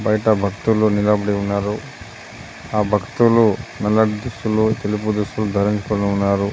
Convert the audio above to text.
బయట భక్తులు నిలబడి ఉన్నారు. ఆ భక్తులు నల్లటి దుస్తులు తెలుపు దుస్తులు ధరించుకొని ఉన్నారు.